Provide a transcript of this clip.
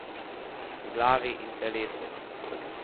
V glavi in telesu.